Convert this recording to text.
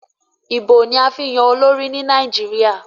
Ìbò ni a fi ń yan olórí ni Nàìjíríà.